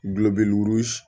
Gulolɔbew